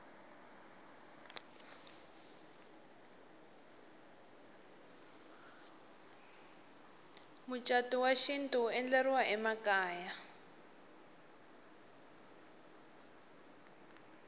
mucatu wa xintu wu endleriwa emakaya